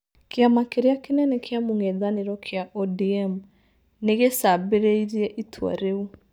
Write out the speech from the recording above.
Kĩama kĩrĩa kĩnene kĩa mũng'ethanĩro kia ODM, nĩ gĩcambĩrĩirie itua rĩu".